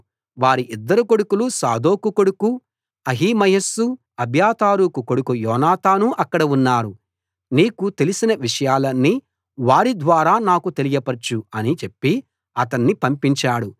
వారి ఇద్దరు కొడుకులు సాదోకు కొడుకు అహిమయస్సు అబ్యాతారుకు కొడుకు యోనాతాను అక్కడ ఉన్నారు నీకు తెలిసిన విషయాలన్నీ వారి ద్వారా నాకు తెలియపరచు అని చెప్పి అతణ్ణి పంపించాడు